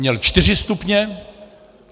Měl čtyři stupně.